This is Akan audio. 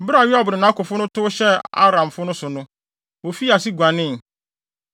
Bere a Yoab ne nʼakofo no tow hyɛɛ Aramfo no so no, wofii ase guanee.